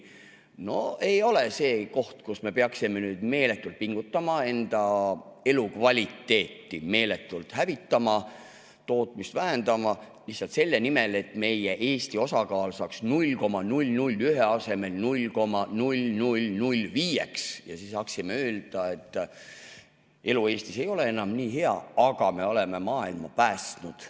No see ei ole koht, kus me peaksime meeletult pingutama, enda elukvaliteeti meeletult hävitama, tootmist vähendama, lihtsalt selle nimel, et meie Eesti osakaal oleks 0,001 asemel 0,005 ja me saaksime öelda, et elu Eestis ei ole enam nii hea, aga me oleme maailma päästnud.